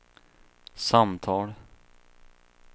samtal